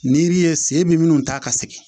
Ni yiri ye sen bɛ minnu ta ka sigi